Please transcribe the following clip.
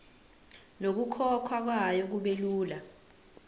nokukhokhwa kwayo kubelula